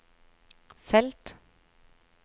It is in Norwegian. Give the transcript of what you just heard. felt